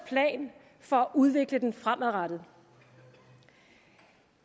plan for at udvikle den fremadrettet